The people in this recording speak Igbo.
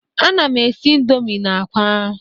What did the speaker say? Ana m esi indomi na àkwá.